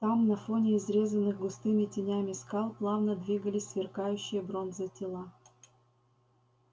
там на фоне изрезанных густыми тенями скал плавно двигались сверкающие бронзой тела